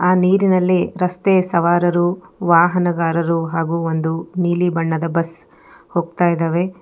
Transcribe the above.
ಆ ನೀರಿನಲ್ಲಿ ರಸ್ತೆ ಸವಾರರು ವಾಹನಗಾರರು ಹಾಗೂ ಒಂದು ನೀಲಿ ಬಣ್ಣದ ಬಸ್ ಹೋಗ್ತಾ ಇದಾವೆ.